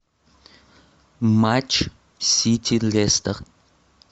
матч сити лестер